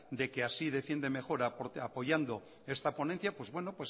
de que así defiende mejor apoyando esta ponencia pues bueno